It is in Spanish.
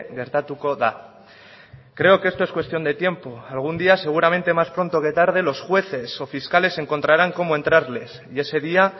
gertatuko da creo que esto es cuestión de tiempo algún día seguramente más pronto que tarde los jueces o fiscales encontrarán cómo entrarles y ese día